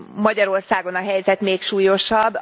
Magyarországon a helyzet még súlyosabb.